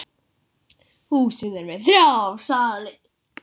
Þannig háttaði til um Einar.